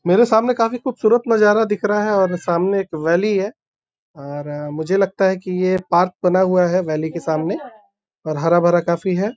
मेरे सामने काफी खुबसूरत नजारा दिख रहा है और सामने एक वैली है और मुझे लगता है कि ये पार्क बना हुआ है वैली के सामने और हरा-भरा काफी है।